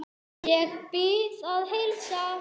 Ég bið að heilsa